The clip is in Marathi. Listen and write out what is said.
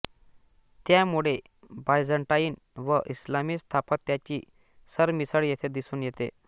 त्यामुळे बायझंटाईन व इस्लामी स्थापत्याची सरमिसळ येथे दिसून येते